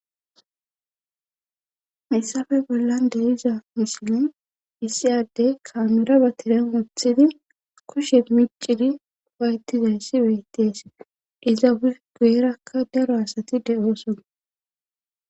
Haysappe bollan de iza misilin issi addey kaamira ba tiren wuthidi kushe micidi waytizayssi weyttees iza uf guyerakka daro asati de7ooson